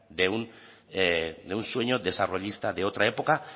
de un de un sueño desarrollista de otra época